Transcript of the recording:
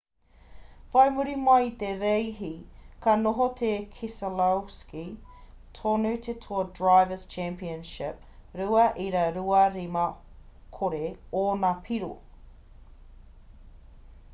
whai muri mai i te reihi ka noho ko keselowski tonu te toa drivers' championship 2.250 ōna piro